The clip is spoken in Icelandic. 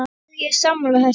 Já, ég er sammála þessu.